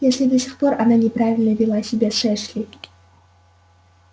если до сих пор она неправильно вела себя с эшли